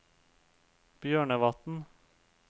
Bjørnevatn